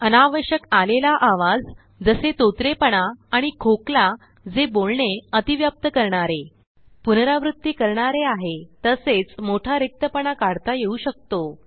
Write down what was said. अनावश्यकआलेले आवाज जसे तोतरेपणा आणि खोकला जे बोलणे अतिव्याप्त करणारे पुनरावृत्ती करणारे आहे तसेच मोठारिक्तपणा काढता येऊ शकतो